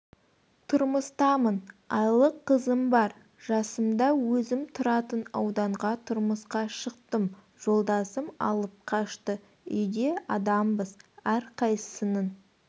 тұрмыстамын айлық қызым бар жасымда өзім тұратын ауданға тұрмысқа шықтым жолдасым алып қашты үйде адамбыз әрқайсысының